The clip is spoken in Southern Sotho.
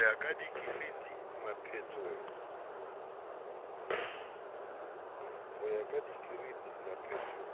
ya ka dikereiti mephatong